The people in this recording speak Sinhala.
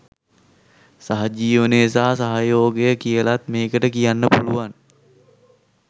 සහජීවනය සහ සහයෝගය කියලත් මේකට කියන්න පුළුවන්.